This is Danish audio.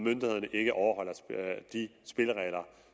ikke overholder de spilleregler